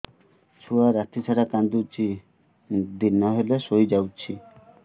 ଛୁଆ ରାତି ସାରା କାନ୍ଦୁଚି ଦିନ ହେଲେ ଶୁଇଯାଉଛି